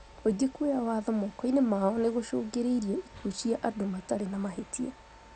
Mũingĩ kuoya watho moko-inĩ mao nĩ gũcũngĩrĩirie ikuũ cia andũ matarĩ na mahĩtia